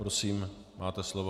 Prosím, máte slovo.